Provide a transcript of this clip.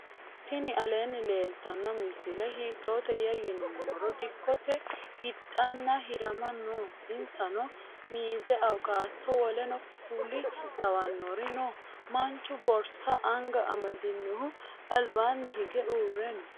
ttini alenni leltano misile hittoteya yinumoro dikote hdana hiirama noo. insano mize awukato woluno kuuli lawanori noo. manchu borsa anga amadinohu albanni hige uure noo.